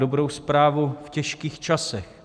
Dobrou zprávu v těžkých časech.